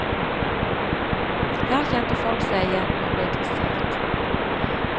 Her kjente folk seg igjen, og ble interessert.